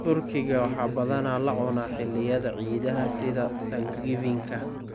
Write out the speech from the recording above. Turkiga waxaa badanaa la cunaa xilliyada ciidaha sida Thanksgivingka.